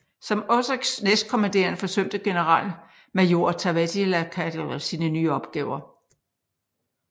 Som Oeschs næstkommanderende forsømte generalmajor Taavetti Laatikainen sine nye opgaver